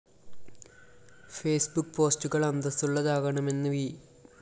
Facebook പോസ്റ്റുകള്‍ അന്തസ്സുള്ളതാകണമെന്ന് V